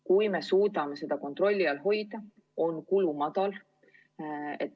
Kui me suudame seda kontrolli all hoida, on kulu väike.